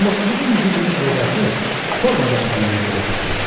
19-cu yüzilliyin ədəbiyyatı forma zənginliyi ilə də seçilir.